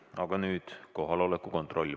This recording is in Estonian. Aga nüüd kohaloleku kontroll.